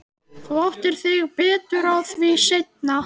Þú áttar þig betur á því seinna.